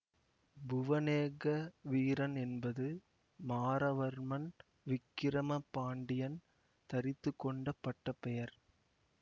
புவனேக வீரன் என்பது மாறவர்மன் விக்கிரம பாண்டியன் தரித்துக்கொண்ட பட்டப்பெயர்